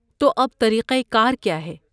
تو اب طریقہ کار کیا ہے؟